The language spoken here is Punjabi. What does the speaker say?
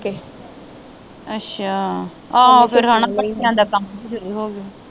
ਅੱਛਾ ਆਹੋ ਫੇਰ ਹੈ ਨਾ ਭੱਠਿਆਂ ਦਾ ਕੰਮ ਸ਼ੁਰੂ ਹੋ ਗਿਆ